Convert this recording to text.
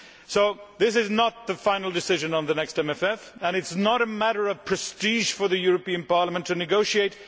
So this is not the final decision on the next MFF, and it is not a matter of prestige for the European Parliament to negotiate.